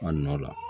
A nɔ la